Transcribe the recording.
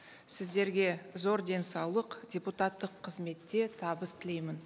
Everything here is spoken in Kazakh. сіздерге зор денсаулық депутаттық қызметте табыс тілеймін